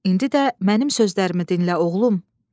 İndi də mənim sözlərimi dinlə, oğlum.